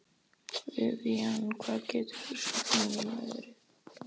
Vivian, hvað geturðu sagt mér um veðrið?